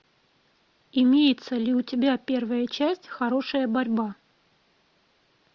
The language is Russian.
имеется ли у тебя первая часть хорошая борьба